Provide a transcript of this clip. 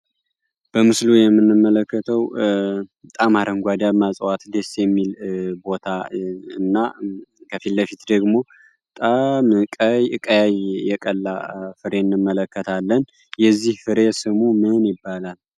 በምስሉ ላይ የምንመለከተው በጣም አረንጓዴ እጽዋት በጣም ደስ የሚል ቦታ ነው ከፊት ለፊት ደግሞ በጣም ቀያይ የቀላ ፍሬ እንመለከታለን የዚህ ፍሬ ስም ምን ይባላል?